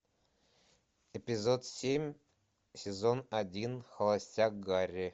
эпизод семь сезон один холостяк гари